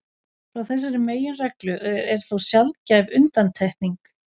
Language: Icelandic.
Frá þessari meginreglu er þó sjaldgæf undantekning.